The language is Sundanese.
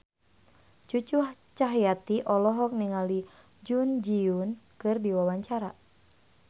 Cucu Cahyati olohok ningali Jun Ji Hyun keur diwawancara